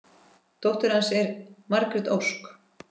Dóttir hans er Margrét Ósk.